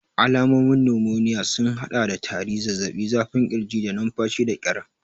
Alamomin numoniya sun haɗa da tari, zazzaɓi, zafin ƙirji, da numfashi da ƙyar.